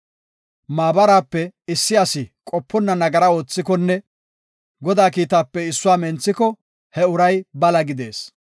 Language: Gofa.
Maabaraape issi asi qoponna nagara oothikonne Godaa kiitaape issuwa menthiko he uray bala gidees.